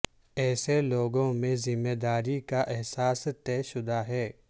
ایسے لوگوں میں ذمہ داری کا احساس طے شدہ ہے